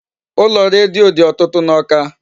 Ụlọ redio dị ọtụtụ n'Awka.